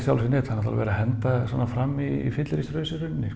neinn það er náttúrulega verið að henda svona fram í fyllerísrausi í rauninni